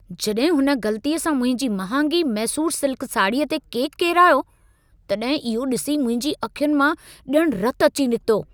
जॾहिं हुन ग़लतीअ सां मुंहिंजी महांगी मैसूर सिल्क साड़ीअ ते केकु किरायो, तॾहिं इहो ॾिसी मुंहिंजी अखियुनि मां ॼणु रतु अची निकितो।